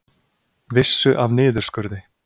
Vissu af niðurskurði